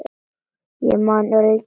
Ég man örlítið eftir honum.